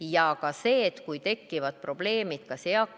Ma tean seda, sest rääkisin paar nädalat tagasi Priit Tamperega.